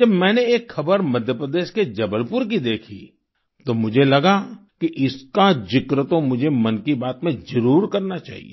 जब मैंने एक खबर मध्य प्रदेश के जबलपुर की देखी तो मुझे लगा कि इसका जिक्र तो मुझे मन की बात में जरुर करना चाहिए